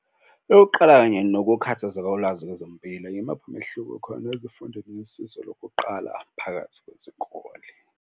Eyokuqala kanye nokukhathaza kolwazi kwezempilo yimuphi umehluko okhona ezifundweni yosizo lokuqala phakathi kwezikole.